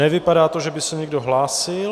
Nevypadá to, že by se někdo hlásil.